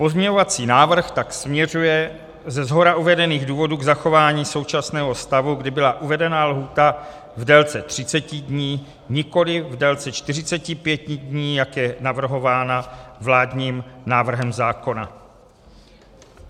Pozměňovací návrh tak směřuje ze shora uvedených důvodů k zachování současného stavu, kdy byla uvedená lhůta v délce 30 dní, nikoliv v délce 45 dní, jak je navrhována vládním návrhem zákona.